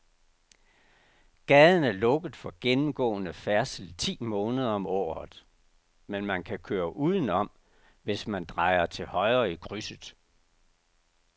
Gaden er lukket for gennemgående færdsel ti måneder om året, men man kan køre udenom, hvis man drejer til højre i krydset.